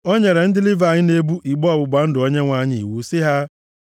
o nyere ndị Livayị na-ebu igbe ọgbụgba ndụ Onyenwe anyị iwu sị ha,